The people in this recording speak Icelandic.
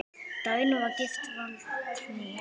Dagný var gift Valtý.